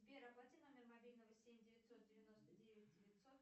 сбер оплати номер мобильного семь девятьсот девяносто девять девятьсот